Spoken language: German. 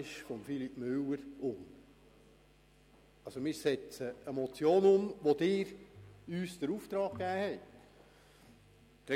Wir setzen eine Motion um, zu deren Umsetzung Sie uns beauftragt haben.